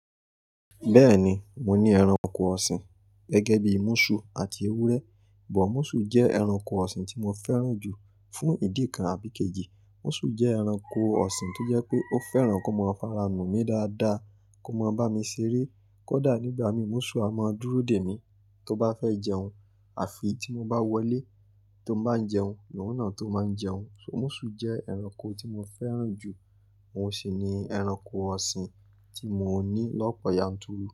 Bẹ́ẹ̀ni, mo ní ẹranko ọ̀sìn gẹ́gẹ́ bí múṣù àti ewúrẹ́. But, múṣù jẹ́ ẹranko ọ̀sìn tí mo fẹ́ràn jù fún ìdí kan àbí ikejì. Múṣù jẹ́ ẹranko ọ̀sìn tó jẹ́ pé ó fẹ́ràn kí ó máa faranù mi dáadáa, kó máa bá mi ṣeré, kódà nígbà mi múṣù a máa dúró dè mí tó bá fẹ́ jẹun àfi tí mo bá wọlé ti bá ń jẹun, ni oun náà tó máa ń jẹun. So, múṣù jẹ́ ẹranko tí mo fẹ́ràn jù. Oun sì ní ẹranko ọ̀sìn tí mò ní lọ́pọ̀ yanturu.